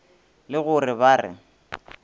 le go re ba re